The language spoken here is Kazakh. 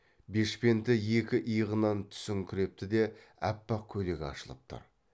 бешпенті екі иығынан түсіңкірепті де аппақ көйлегі ашылып тұр